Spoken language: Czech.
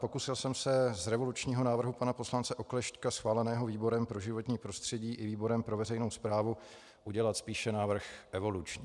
Pokusil jsem se z revolučního návrhu pana poslance Oklešťka schváleného výborem pro životní prostředí i výborem pro veřejnou správu udělat spíše návrh evoluční.